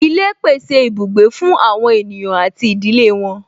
Ilé pèsè ibùgbé fún àwọn ènìyàn àti ìdílé wọn